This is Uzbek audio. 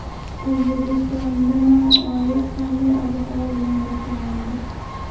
O‘zbekistonda may oyi qanday ob-havo bilan boshlanadi?.